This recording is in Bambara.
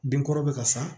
Den kɔrɔ bɛ ka sa